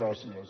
gràcies